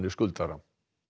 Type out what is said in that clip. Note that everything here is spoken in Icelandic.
skuldara